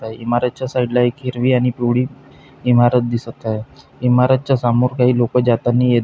इमारतच्या साइडला एक हिरवी आणि पिवळी इमारत दिसत आहे इमारतच्या समोर काही लोक जातानी ये --